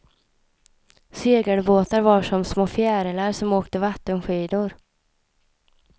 Segelbåtar var som små fjärilar som åkte vattenskidor.